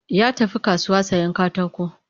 Ya tafi kasuwa sayen katako